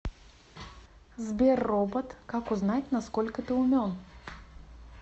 сбер робот как узнать на сколько ты умен